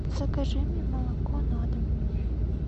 закажи мне молоко на дом